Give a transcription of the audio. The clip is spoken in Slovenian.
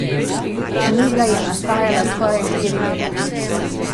Knjiga je nastajala skoraj štiri leta.